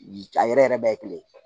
A yɛrɛ yɛrɛ bɛɛ ye kelen ye